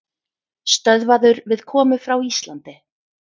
Stöðvaður við komu frá Íslandi